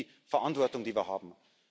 Das ist die Verantwortung, die wir haben.